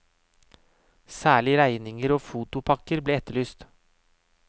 Særlig regninger og fotopakker ble etterlyst.